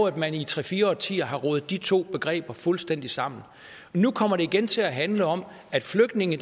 at man i tre fire årtier har rodet de to begreber fuldstændig sammen nu kommer det igen til at handle om at flygtninge